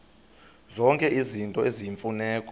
zonke izinto eziyimfuneko